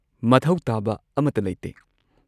ꯃꯊꯧ ꯇꯥꯕ ꯑꯃꯠꯇ ꯂꯩꯇꯦ꯫